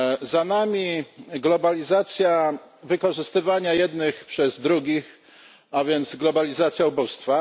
Za nami globalizacja wykorzystywania jednych przez drugich, a więc globalizacja ubóstwa.